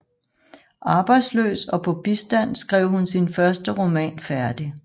Arbejdsløs og på bistand skrev hun sin første roman færdig